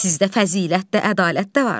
Sizdə fəzilət də, ədalət də var.